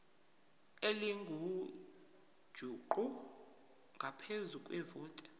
elingujuqu ngaphezu kwevoti